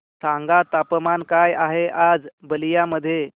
सांगा तापमान काय आहे आज बलिया मध्ये